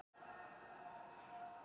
Kolbeinn grön svona harðbrjósta maður?